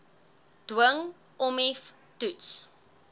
dwing ommiv toets